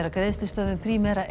að greiðslustöðvun Primera